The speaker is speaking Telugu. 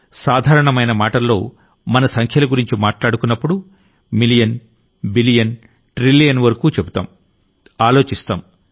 సాధారణమైన మాటల్లో మనం సంఖ్యల గురించి మాట్లాడుకున్నప్పుడు మిలియెన్ బిలియెన్ ట్రిలియెన్ వరకూ చెబుతాం ఆలోచిస్తాం